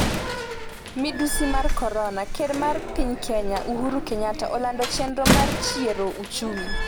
Midhusi mar Korona: Ker mar piny Kenya, Uhuru Kenyatta, olando chenro mar chiero ochumi